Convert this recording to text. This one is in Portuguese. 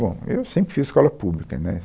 Bom, eu sempre fiz escola pública, né?